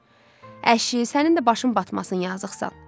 Əşi, sənin də başın batmasın yazıqsan.